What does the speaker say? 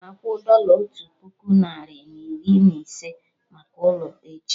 Agam akwụ dọla otu puku narị na iri na ise maka ụlọ, echi